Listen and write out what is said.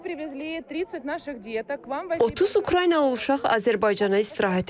30 Ukraynalı uşaq Azərbaycana istirahətə gəlib.